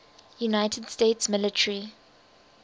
united states military